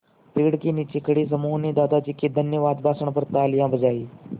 पेड़ के नीचे खड़े समूह ने दादाजी के धन्यवाद भाषण पर तालियाँ बजाईं